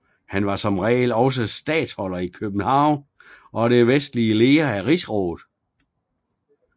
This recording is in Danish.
Han var som regel også statholder i København og den verdslige leder af rigsrådet